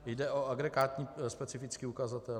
Jde o agregátní specifický ukazatel.